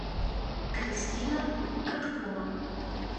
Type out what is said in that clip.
кристина коткова